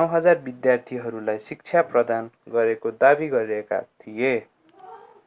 9,000 विद्यार्थीहरूलाई शिक्षा प्रदान गरेको दावी गरेका थिए